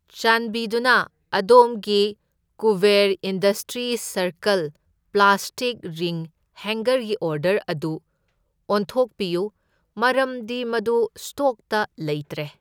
ꯆꯥꯟꯕꯤꯗꯨꯅ ꯑꯗꯣꯝꯒꯤ Kuber industries circle plastic ring ꯍꯦꯡꯒꯔꯒꯤ ꯑꯣꯔꯗꯔ ꯑꯗꯨ ꯑꯣꯟꯊꯣꯛꯄꯤꯌꯨ, ꯃꯔꯝꯗꯤ ꯃꯗꯨ ꯁ꯭ꯇꯣꯛꯇ ꯂꯩꯇ꯭ꯔꯦ꯫